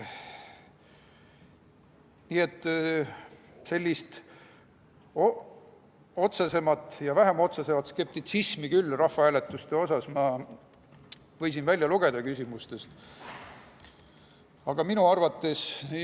Nii et sellist otsesemat ja vähem otsesemat skeptitsismi rahvahääletuse suhtes ma võisin küsimustest välja lugeda küll.